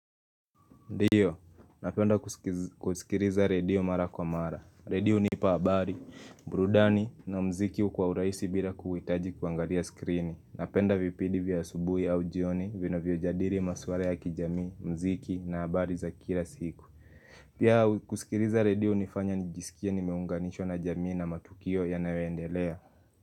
Ndiyo, napenda kusikiriza redio mara kwa mara. Redio hunipa abari, burudani na mziki kwa urahisi bila kuhitaji kuangalia skrini. Napenda vipindi vya asubuhi au jioni vinavyojadiri maswara ya kijamii, mziki na habari za kila siku. Pia kusikiriza redio hunifanya nijisikie nimeunganishwa na jamii na matukio yanayoendelea.